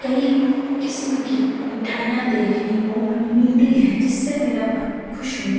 कई किस्‍म की मिठाईयां देखने को मिलती है जिससे मेरा मन खुश हो --